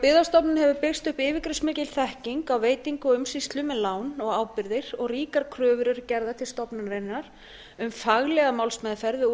hjá byggðastofnun hefur byggst upp yfirgripsmikil þekking á veitingu og umsýslu með lán og ábyrgðir og ríkar kröfur eru gerðar til stofnunarinnar um faglega málsmeðferð og